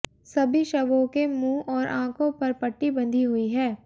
सभी शवों के मुंह और आंखों पर पट्टी बंधी हुई है